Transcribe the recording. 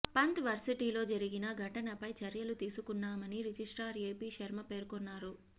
పంత్ వర్సిటీలో జరిగిన ఘటనపై చర్యలు తీసుకున్నామని రిజిస్ట్రార్ ఏపీ శర్మ పేర్కొన్నారు